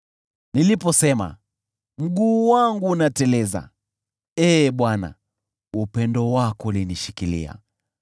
Niliposema, “Mguu wangu unateleza,” Ee Bwana , upendo wako ulinishikilia.